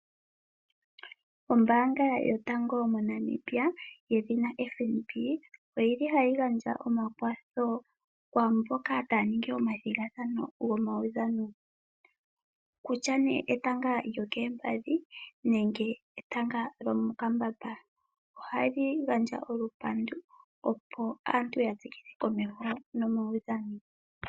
Ombaanga yotango moNamibia yedhina FNB, oyili hayi gandja omakwatho kwaamboka taa ningi omathigathano gomawudhano. Kutya ne etanga lyokoompadhi nenge etanga lomokambamba. Ohali gandja olupandu opo aantu yatsikile komeho namawudhano.